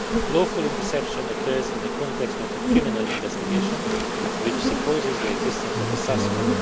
Lawful interception occurs in the context of a criminal investigation which supposes the existence of a suspect.